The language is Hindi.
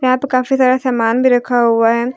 यहां पे काफी सारा समान भी रखा हुआ है।